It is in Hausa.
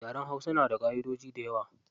Yaren hausa na da ƙaʼidoji dayawa.